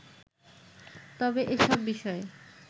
তবে এসব বিষয়ে